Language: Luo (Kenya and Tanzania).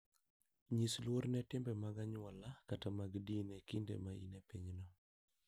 Nyis luor ne timbe mag anyuola kata mag din e kinde ma in e pinyno.